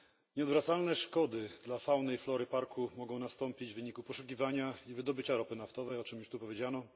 Nieodwracalne szkody dla fauny i flory parku mogą nastąpić w wyniku poszukiwania i wydobycia ropy naftowej, o czym już tu powiedziano.